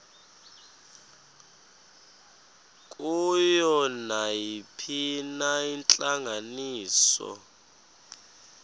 kuyo nayiphina intlanganiso